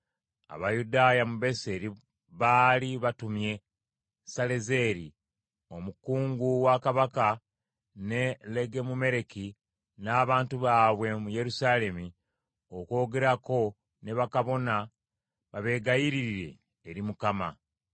Abayudaaya mu Beseri baali batumye Salezeeri omukungu wa kabaka ne Legemumereki n’abantu baabwe mu Yerusaalemi okwogerako ne bakabona babegayiririre eri Mukama ,